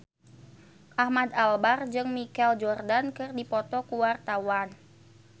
Ahmad Albar jeung Michael Jordan keur dipoto ku wartawan